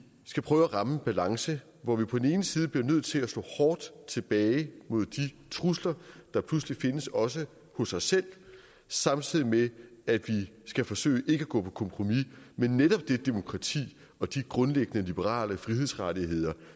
skal prøve at ramme en balance hvor vi på den ene side bliver nødt til at slå hårdt tilbage mod de trusler der pludselig findes også hos os selv samtidig med at vi skal forsøge ikke at gå på kompromis med netop det demokrati og de grundlæggende liberale frihedsrettigheder